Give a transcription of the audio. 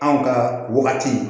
Anw ka wagati